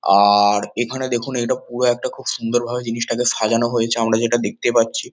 আ-আ-র এখানে দেখুন এটা পুরো একটা খুব সুন্দর ভাবে জিনিসটাকে সাজানো হয়েছে আমরা যেটা দেখতে পাচ্ছি।